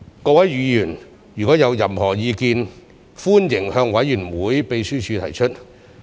各位議員如有任何意見，歡迎向委員會秘書提出。